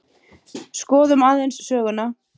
Skoðum aðeins söguna.